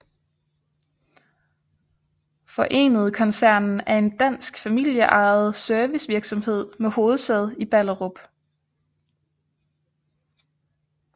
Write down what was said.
Forenede Koncernen er en dansk familieejet servicevirksomhed med hovedsæde i Ballerup